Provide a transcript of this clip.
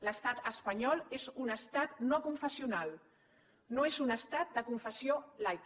l’estat espanyol és un estat no confessional no és un estat de confessió laica